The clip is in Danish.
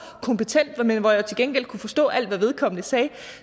kompetent men hvor jeg til gengæld kunne forstå alt hvad vedkommende sagde